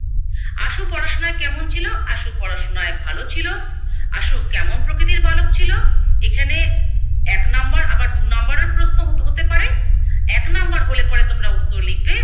আশু পড়াশুনায় কেমন ছিলো? আশু পড়াশুনায় ভালো ছিলো। আশু কেমন প্রকৃতির বালক ছিল? এখানে এক নাম্বার আবার দু নাম্বারের প্রশ্ন হতে পারে, এক নাম্বার হলে পরে তোমরা উত্তর লিখবে